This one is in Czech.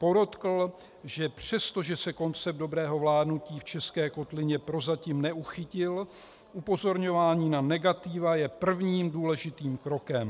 Podotkl, že přestože se koncept dobrého vládnutí v české kotlině prozatím neuchytil, upozorňování na negativa je prvním, důležitým krokem.